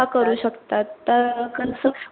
करू शकतात